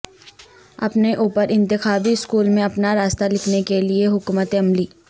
اپنے اوپر انتخابی سکول میں اپنا راستہ لکھنے کے لئے حکمت عملی